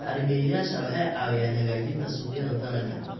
Bacrimiyeyaasha waxay caawiyaan hagaajinta suuqyada dalagga.